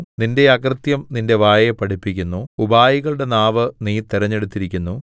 നിന്റെ അകൃത്യം നിന്റെ വായെ പഠിപ്പിക്കുന്നു ഉപായികളുടെ നാവ് നീ തിരഞ്ഞെടുത്തിരിക്കുന്നു